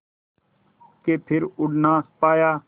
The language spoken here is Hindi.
के फिर उड़ ना पाया